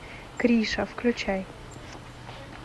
криша включай